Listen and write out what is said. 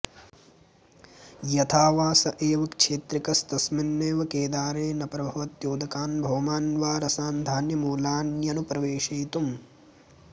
यथा वा स एव क्षेत्रिकस्तस्मिन्नेव केदारे न प्रभवत्यौदकान्भौमान्वा रसान्धान्यमूलान्यनुप्रवेशयितुम्